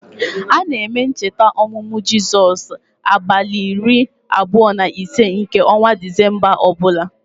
A na-eme ncheta ọmụmụ Jizọs n' abalị iri abụọ na ise nke ọnwa disemba ọbụla